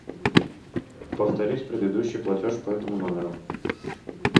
повторить предыдущий платеж по этому номеру